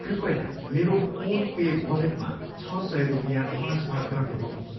कृपया मेरो PhonePe वालेटमा छ सय रुपियाँ ट्रान्सफर गर्नुहोस्।